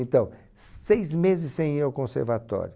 Então, seis meses sem ir ao conservatório.